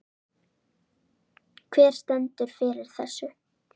Hver stendur fyrir þessu?